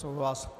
Souhlas.